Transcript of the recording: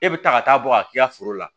E bɛ taa ka taa bɔ ka k'i ka foro la